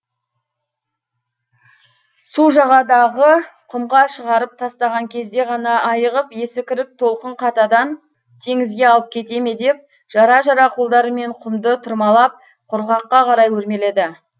су жағадағы құмға шығарып тастаған кезде ғана айығып есі кіріп толқын қатадан теңізге алып кете ме деп жара жара қолдарымен құмды тырмалап құрғаққа қарай өрмеледі